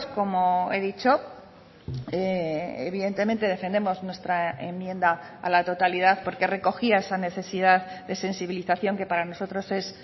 como he dicho evidentemente defendemos nuestra enmienda a la totalidad porque recogía esa necesidad de sensibilización que para nosotros es